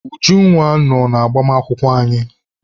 Ujunwa nọ n'agbamakwụkwọ anyị.